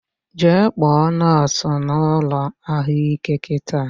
Jee kpọta nọsụ na ụlọ ahụike kịta!